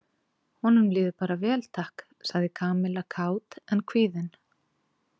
Honum líður bara vel, takk sagði Kamilla kát en kvíðin.